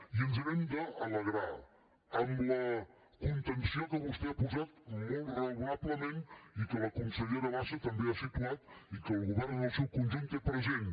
i ens n’hem d’alegrar amb la contenció que vostè ha posat molt raonablement i que la consellera bassa també ha situat i que el govern en el seu conjunt té present